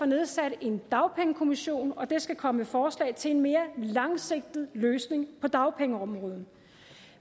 nedsat en dagpengekommission skal komme med forslag til en mere langsigtet løsning på dagpengeområdet